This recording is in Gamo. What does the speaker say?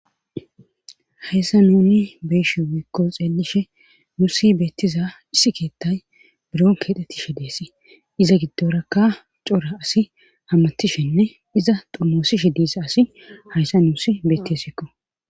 hayssa nuni beshe wiekko xeelishe nuusi beettiza issi keettay biron keexettishe deesi iza giddorakka cora asi hammatishenne iza dumoosishe diisa asi hayssa nuusi beettisikko.